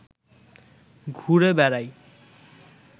ঘুরে বেড়াই